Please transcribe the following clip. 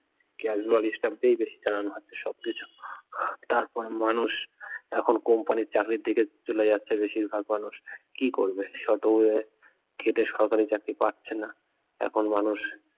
casual staff দিয়েই বেশি চালানো হচ্ছে সবকিছু তারপরে মানুষ এখন কোম্পানির চাকরির দিকে চলে যাচ্ছে বেশিরভাগ মানুষ কি করবে শত হয়ে খেটে সরকারি চাকরি পাচ্ছে না এখন মানুষ